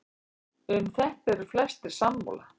um þetta eru flestir sammála